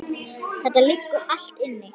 Þetta liggur allt inni